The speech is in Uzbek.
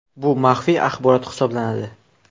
Bu maxfiy axborot hisoblanadi.